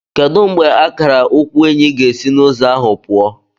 Kedu mgbe akara ukwu Enyi ga-esi n'ụzọ ahụ pụọ?